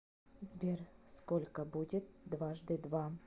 сбер сколько будет дважды два